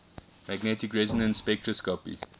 magnetic resonance spectroscopy